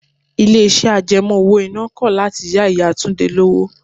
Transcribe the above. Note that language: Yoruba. Ilé iṣẹ́ àjẹmó owó iná kọ̀ láti yá Ìyá Túndé lówó.